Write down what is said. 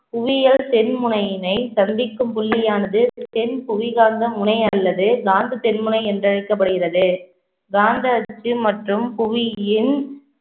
புவியியல் தென்முனையினை சந்திக்கும் புள்ளியானது தென்புவி காந்த முனை அல்லது காந்ததென்முனை என்று அழைக்கப்படுகிறது. காந்த அச்சு மற்றும் புவியின்